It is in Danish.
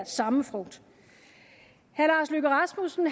samme frugt herre lars løkke rasmussen